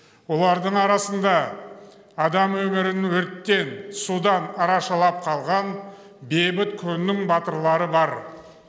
олардың арасында адам өмірін өрттен судан арашалап қалған бейбіт күннің батырлары бар